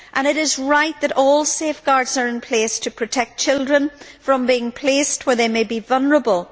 It is right that all safeguards are in place to protect children from being placed where they may be vulnerable.